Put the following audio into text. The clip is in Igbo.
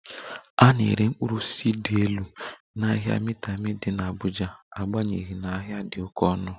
A na-ere mkpụrụ osisi dị elu n'ahịa Maitama dị n'Abuja n'agbanyeghị na ha dị oke ọnụ